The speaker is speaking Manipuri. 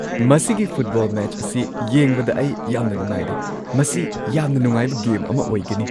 ꯃꯁꯤꯒꯤ ꯐꯨꯠꯕꯣꯜ ꯃꯦꯆ ꯑꯁꯤ ꯌꯦꯡꯕꯗ ꯑꯩ ꯌꯥꯝꯅ ꯅꯨꯡꯉꯥꯏꯔꯦ! ꯃꯁꯤ ꯌꯥꯝꯅ ꯅꯨꯡꯉꯥꯏꯕ ꯒꯦꯝ ꯑꯃ ꯑꯣꯏꯒꯅꯤ꯫